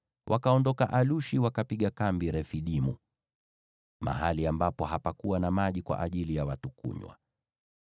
Wakaondoka Alushi, wakapiga kambi Refidimu, mahali ambapo hapakuwa na maji kwa ajili ya watu kunywa.